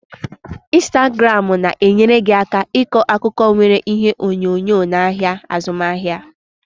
Instagramu na-enyere gị aka ịkọ akụkọ nwere ihe onyonyo n'ahịa azụmaahịa.